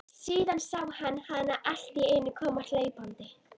Síðan sá hann hana alltíeinu koma hlaupandi.